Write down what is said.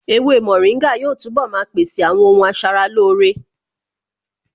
Ewé mòríngà yóò túnbọ̀ maa pèsè àwọn ohun asaralóore